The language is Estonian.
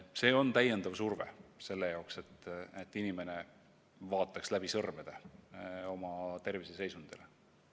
See on täiendav surve, et inimene vaataks läbi sõrmede oma terviseseisundile.